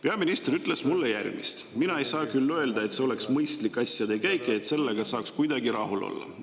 Peaminister ütles mulle järgmist: "Mina ei saa küll öelda, et see oleks mõistlik asjade käik ja et sellega saaks kuidagi rahul olla.